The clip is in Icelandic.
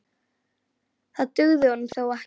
Það dugði honum þó ekki.